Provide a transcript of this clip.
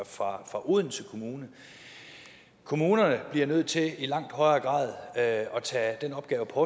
fra odense kommune kommunerne bliver nødt til i langt højere grad at tage den opgave på